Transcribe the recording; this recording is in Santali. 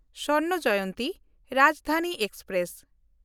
ᱥᱚᱨᱱᱚ ᱡᱚᱭᱚᱱᱛᱤ ᱨᱟᱡᱽᱫᱷᱟᱱᱤ ᱮᱠᱥᱯᱨᱮᱥ